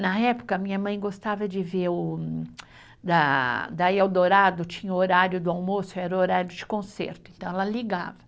Na época, minha mãe gostava de ver o da El Dourado tinha o horário de almoço, era o horário de concerto, então ela ligava.